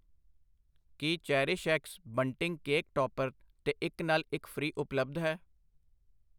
ਕੀ CherishX bunting cake topper 'ਤੇ ਇੱਕ ਨਾਲ਼ ਇੱਕ ਫ੍ਰੀ ਉਪਲਬਧ ਹੈ